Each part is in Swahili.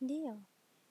Ndiyo,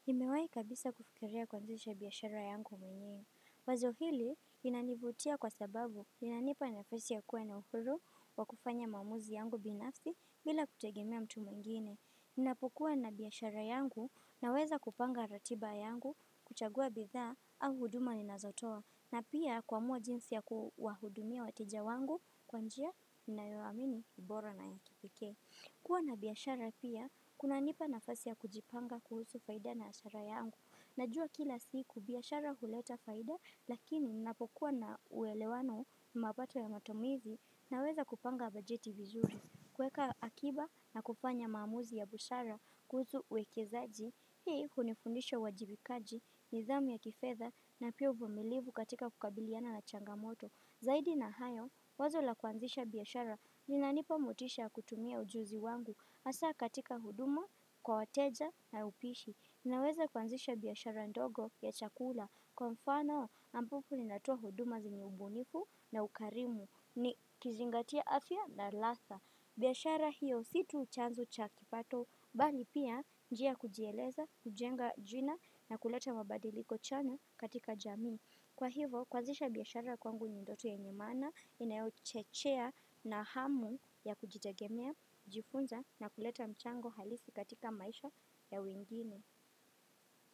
nimewahi kabisa kufikiria kuanzisha biashara yangu mwenyewe. Wazo hili inanivutia kwa sababu inanipa nafasi ya kuwa na uhuru wa kufanya maamuzi yangu binafsi bila kutegemea mtu mwingine. Ninapokua na biashara yangu naweza kupanga ratiba yangu kuchagua bidha au huduma ninazotoa. Na pia kuamua jinsi ya kuwahudumia wateja wangu kwa njia ninayoamini ni bora na ya kipekee. Kuwa na biashara pia kunanipa nafasi ya kujipanga kuhusu faida na azma yangu. Najua kila siku biashara huleta faida, lakini ninapokuwa na uwelewano mapato ya matumizi naweza kupanga bajeti vizuri. Kuweka akiba na kufanya maamuzi ya busara kuhusu uwekezaji, hii hunifundisha uwajibikaji, nidhamu ya kifedha na pia uvumilivu katika kukabiliana na changamoto. Zaidi na hayo, wazo la kuanzisha biashara, linanipa motisha kutumia ujuzi wangu, hasa katika huduma, kwa wateja na upishi. Ninaweza kuanzisha biashara ndogo ya chakula, kwa mfano ambapo ninatoa huduma zenye ubunifu na ukarimu, nikizingatia afya na ladha. Biashara hiyo si tu chanzo cha kipato, bali pia njia ya kujieleza, kujenga jina na kuleta mabadiliko chanya katika jamii. Kwa hivo, kuanzisha biashara kwangu ni ndoto yenye maana inayochechea na hamu ya kujitegemia kujifunza na kuleta mchango halisi katika maisha ya wengine.